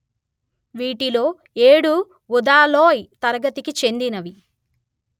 వీటిలో ఏడు ఉదాలోయ్ తరగతికి చెందినవి